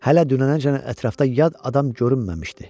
Hələ dünənəcən ətrafda yad adam görünməmişdi.